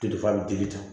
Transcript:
Telefɔni dili kan